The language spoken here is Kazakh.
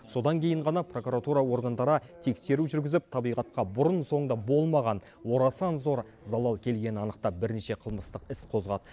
содан кейін ғана прокуратура органдары тексеру жүргізіп табиғатқа бұрын соңды болмаған орасан зор залал келгенін анықтап бірнеше қылмыстық іс қозғады